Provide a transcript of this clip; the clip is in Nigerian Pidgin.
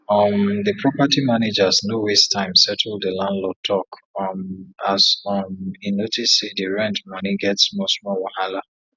um the property managers no waste time settle the landlord talk um as um e notice say the rent money get small small wahala